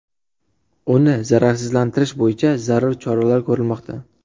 Uni zararsizlantirish bo‘yicha zarur choralar ko‘rilmoqda.